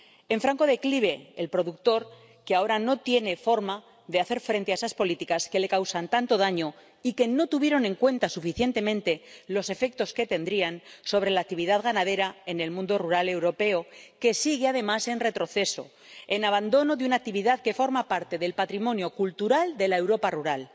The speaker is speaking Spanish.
En franco declive, el productor, que ahora no tiene forma de hacer frente a esas políticas que le causan tanto daño y que no tuvieron en cuenta suficientemente los efectos que tendrían sobre la actividad ganadera en el mundo rural europeo, que sigue además en retroceso, en abandono de una actividad que forma parte del patrimonio cultural de la Europa rural.